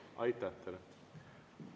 Aitäh teile!